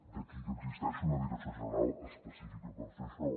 d’aquí que existeixi una direcció general específica per fer això